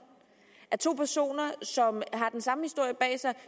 at to personer som har den samme historie bag sig og